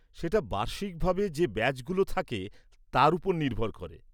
সেটা বার্ষিকভাবে যে ব্যাচগুলো থাকে তার ওপর নির্ভর করে।